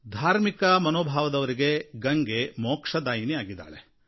ಧಾರ್ಮಿಕ ಮನೋಭಾವದವರಿಗೆ ಗಂಗೆ ಮೋಕ್ಷದಾಯಿನಿ ಆಗಿದ್ದಾಳೆ